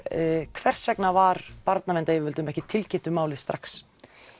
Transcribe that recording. hvers vegna var barnaverndaryfirvöldum ekki tilkynnt um málið strax